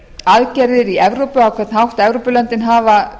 aðgerðir í evrópu á hvern hátt evrópulöndin hafa